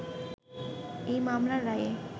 এই মামলার রায়ে